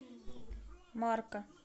марка